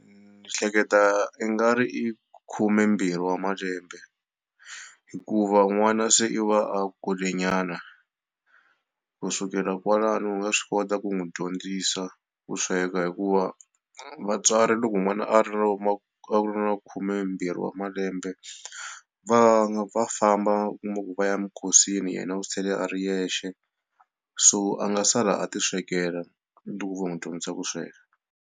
Ni hleketa i nga ri i khumembirhi wa malembe hikuva n'wana se i va a kurile nyana kusukela kwalaho u nga swi kota ku n'wi dyondzisa ku sweka hikuva vatswari loko n'wana a ri na khumembirhi wa malembe va nga va famba u kuma ku va ya mikosini yena u sele a ri yexe so a nga sala a ti swekela loko vo n'wi dyondzisa ku sweka.